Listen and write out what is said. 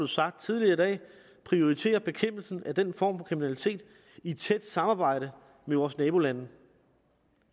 sagt tidligere i dag prioritere bekæmpelsen af den form for kriminalitet i et tæt samarbejde med vores nabolande